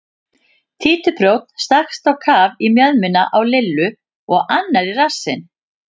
Títuprjónn stakkst á kaf í mjöðmina á Lillu og annar í rassinn.